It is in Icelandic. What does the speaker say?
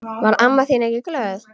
Varð amma þín ekki glöð?